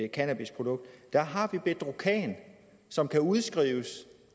cannabisprodukt der har vi bedrocan som kan udskrives